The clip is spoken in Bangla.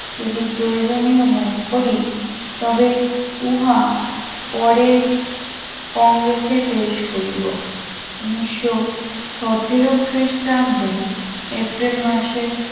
যদি প্রয়োজনীয় মনে করি তবে উহা পরে কংগ্রেসে পেশ করিব উনিশশো সতেরো খ্রিস্টাব্দে এপ্রিল মাসে